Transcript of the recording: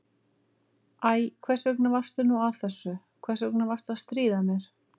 Æ, hvers vegna varstu nú að þessu, hvers vegna varstu að stríða mér?